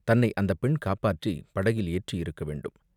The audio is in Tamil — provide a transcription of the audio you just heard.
தன்னை அந்தப் பெண் காப்பாற்றிப் படகில் ஏற்றியிருக்க வேண்டும்.